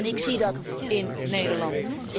Ik zie dat in Nederland.